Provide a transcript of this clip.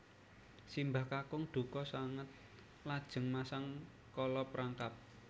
Simbah kakung dukha sanget lajeng masang kala perangkap